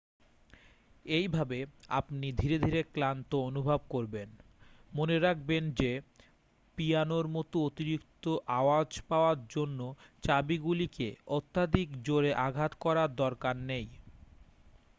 এইভাবে আপনি ধীরে ধীরে ক্লান্ত অনুভব করবেন মনে রাখবেন যে পিয়ানোর মতো অতিরিক্ত আওয়াজ পাওয়ার জন্য চাবিগুলিকে অত্যাধিক জোরে আঘাত করার দরকার নেই